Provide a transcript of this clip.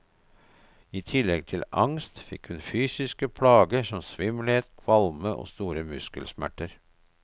I tillegg til angst fikk hun fysiske plager som svimmelhet, kvalme og store muskelsmerter.